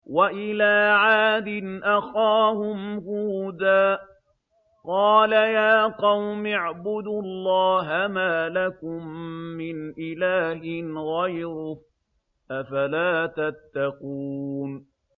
۞ وَإِلَىٰ عَادٍ أَخَاهُمْ هُودًا ۗ قَالَ يَا قَوْمِ اعْبُدُوا اللَّهَ مَا لَكُم مِّنْ إِلَٰهٍ غَيْرُهُ ۚ أَفَلَا تَتَّقُونَ